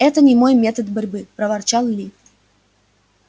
это не мой метод борьбы проворчал ли